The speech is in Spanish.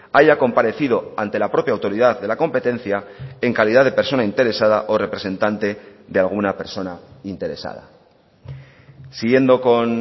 haya comparecido ante la propia autoridad de la competencia en calidad de persona interesada o representante de alguna persona interesada siguiendo con